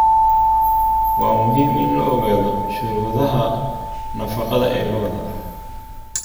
Waa muhiim in la ogaado shuruudaha nafaqada ee lo'da.